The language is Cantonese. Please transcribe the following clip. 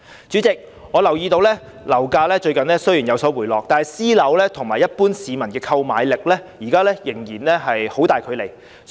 主席，我留意到雖然近日樓價有所回落，但私樓價格與一般市民的購買力仍然有很大距離。